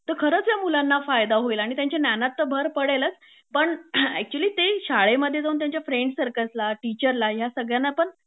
तर खरंच ह्या मुलांना फायदा होईल आणि त्यांच्या ज्ञानात तर भर पडेलच पण ऍक्च्युली ते शाळेमध्ये जाऊन त्याच्या फ्रेंड्स सर्कल ला टीचर ना ह्या सगळ्यांना पण